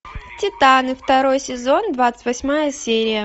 титаны второй сезон двадцать восьмая серия